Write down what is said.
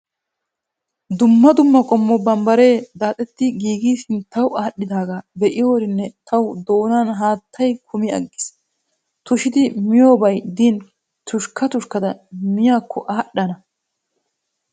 Dumma dumma qommo bambbaree daaxetti giigidi sinttawu aadhdhidaaga be'iyoorinne tawu doonan haattayi kumi aggis. tushidi miyoobayi din tushkka tushkkada miyaakko adhdhana.